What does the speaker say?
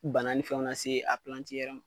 Bana ni fɛnw lase a yɛrɛ ma.